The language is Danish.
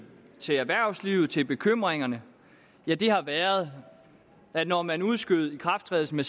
til erhvervslivet til bekymringerne har været at når man udskød ikrafttrædelsen